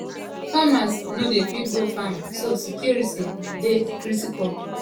farmers no dey fit go farm so security dey critical.